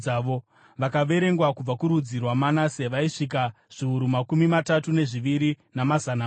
Vakaverengwa kubva kurudzi rwaManase vaisvika zviuru makumi matatu nezviviri, namazana maviri.